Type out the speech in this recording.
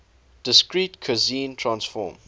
discrete cosine transform